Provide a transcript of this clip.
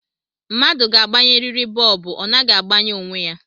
Mmadụ ga-agbanyeriri bọọbụ, ọ naghi agbanye onwe ya